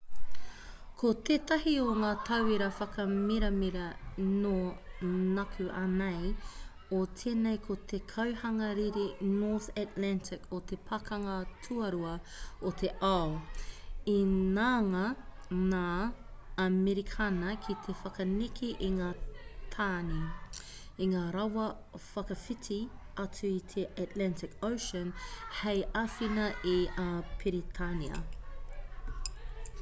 ko tētahi o ngā tauira whakamiramira nō nākuanei o tēnei ko te kauhanga riri north atlantic o te pakanga tuarua o te ao i ngana ngā amerikana ki te whakaneke i ngā tāne i ngā rawa whakawhiti atu i te atlantic ocean hei āwhina i a peretānia